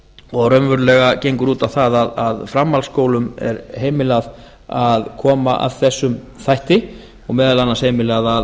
og raunverulega gengur út á það að framhaldsskólum er heimilað að koma að þessum þætti og meðal annars heimilað